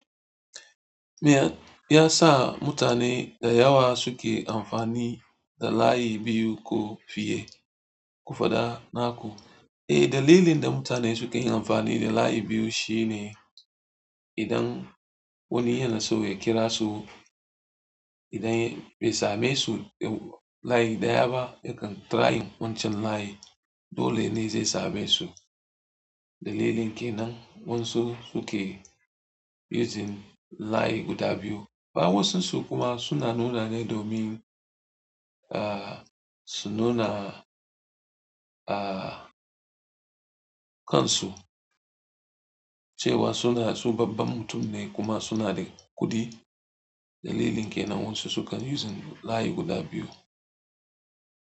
Me ya sa mutane da yawa suke amfani da layi biyu ko fiye, ko faɗa naku? Eh, dalilin da mutane suke yin amfani da layi biyu shine idan wani yana so ya kira su idan bai same su a layi daya ba yakan trying wancan layin, dole dai zai same su Dalilin ke nan, wasu suke using layi guda biyu. Ba wasu su kuma suna nuna ne domin, ah, su nuna, ah, kan su cewa suna, su babban mutum ne kuma suna da kuɗi. Dalilin ke nan wasu sukan using layi guda biyu.